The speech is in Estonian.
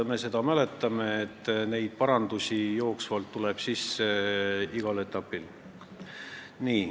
Me mäletame ju, et parandusi tuleb jooksvalt sisse igal etapil.